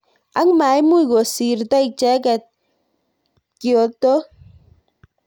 Ak maimuch kosirto icheket kiotok.